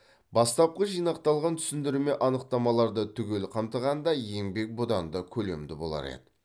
бастапқы жинақталған түсіндірме анықтамаларды түгел қамтығанда еңбек бұдан да көлемді болар еді